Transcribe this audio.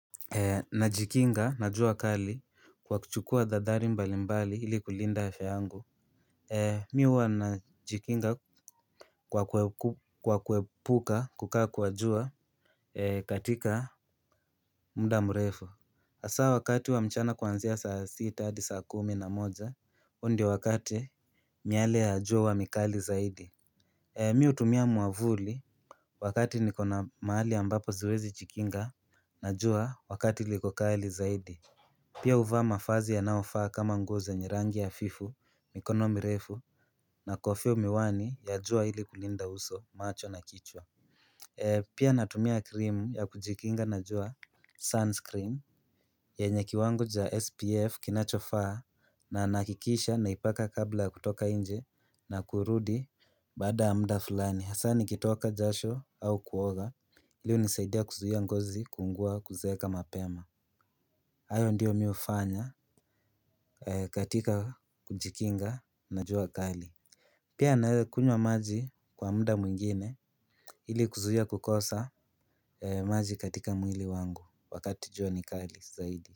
Najikinga, na jua kali kwa kuchukua dhathari mbalimbali ili kulinda afya yangu. Mimi huwa najikinga kwa kuepuka kukaa kwa jua katika muda mrefu. Asa wakati wa mchana kuanzia saa sita, hadi saa kumi na moja, huu ndio wakati miale ya jua huwa mikali zaidi. Mimi hutumia muavuli wakati niko na mahali ambapo siwezi jikinga, najua wakati liko kali zaidi. Pia huva mafazi yanaofaa kama nguo zenye rangi hafifu, mikono mirefu na kofia miwani ya jua ili kulinda uso macho na kichwa. Pia natumia krimu ya kujikinga na jua sunscreen yenye kiwango cha SPF kinachofaa na nahakikisha naipaka kabla ya kutoka nje na kurudi baada ya muda fulani. Hasa nikitoka jasho au kuoga hii hunisaidia kuzuia ngozi kuungua kuzeeka mapema. Hayo ndiyo mimi hufanya katika kujikinga na jua kali. Pia nae kunywa maji kwa muda mwingine ili kuzuia kukosa maji katika mwili wangu wakati jua ni kali zaidi.